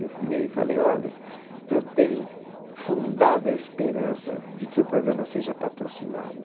Eu virei e falei, olha, eu tenho fundada esperança de que o programa seja patrocinado.